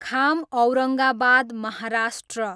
Kham Aurangabad Maharashtra